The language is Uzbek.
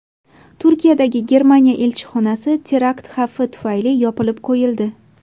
Turkiyadagi Germaniya elchixonasi terakt xavfi tufayli yopib qo‘yildi.